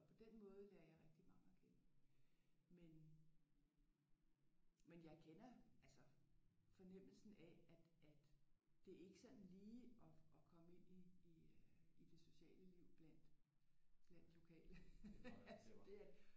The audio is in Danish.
Og på den måde lærer jeg rigtig mange at kende. Men men jeg kender altså fornemmelsen af at det er ikke sådan lige at at komme ind i i øh i det sociale liv blandt lokale. Det er